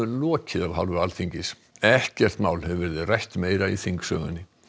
lokið af hálfu Alþingis ekkert mál hefur verið rætt meira í þingsögunni